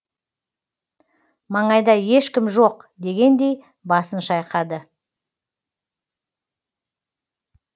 маңайда ешкім жоқ дегендей басын шайқады